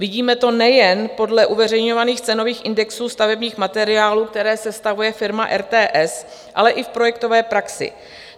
Vidíme to nejen podle uveřejňovaných cenových indexů stavebních materiálů, které sestavuje firma RTS, ale i v projektové praxi.